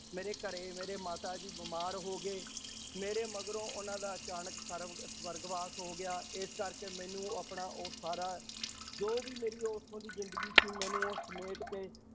ਮੇਰੇ ਘਰੇ ਮੇਰੇ ਮਾਤਾ ਜੀ ਬਿਮਾਰ ਹੋ ਗਏ, ਮੇਰੇ ਮਗਰੋਂ ਉਹਨਾਂ ਦਾ ਅਚਾਨਕ ਸਰਵ ਸਵਰਗਵਾਸ ਹੋ ਗਿਆ ਇਸ ਕਰਕੇੇ ਮੈਨੂੰ ਆਪਣਾ ਉਹ ਸਾਰ ਜੋ ਵੀ ਮੇਰੀ ਉੱਥੋਂ ਦੀ ਜ਼ਿੰਦਗੀ ਸੀ, ਮੈਨੂੰ ਉਹ ਸਮੇਟ ਕੇ